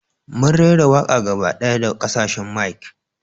Mun raira waƙa gaba ɗaya da kasashen mic.